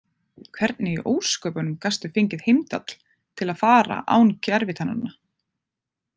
Hvernig í ósköpunum gastu fengið Heimdall til að fara án gervitannanna?